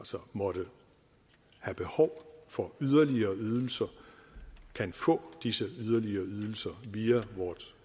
som måtte have behov for yderligere ydelser kan få disse yderligere ydelser via vort